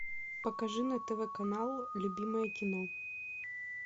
покажи на тв канал любимое кино